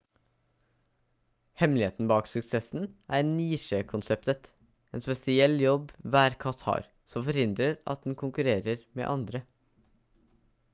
hemmeligheten bak suksessen er nisjekonseptet en spesiell jobb hver katt har som forhindrer at den konkurrerer med andre